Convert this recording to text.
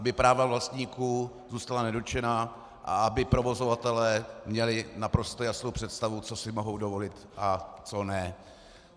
Aby práva vlastníků zůstala nedotčená a aby provozovatelé měli naprostou jasnou představu, co si mohou dovolit a co ne.